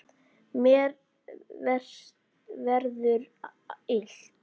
Mér verður illt.